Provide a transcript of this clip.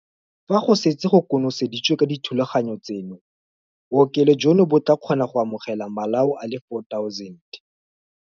Fa go setse go konoseditswe ka dithulaganyo tseno, bookelo jono bo tla kgona go amogela malao a le 4 000.